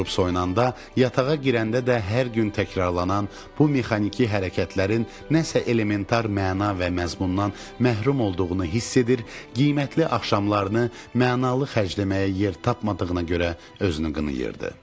Durub soyunanda, yatağa girəndə də hər gün təkrarlanan bu mexaniki hərəkətlərin nəsə elemental məna və məzmundan məhrum olduğunu hiss edir, qiymətli axşamlarını mənalı xərcləməyə yer tapmadığına görə özünü qınayırdı.